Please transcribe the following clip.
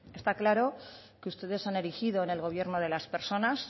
está claro que ustedes han erigido en el gobierno de las personas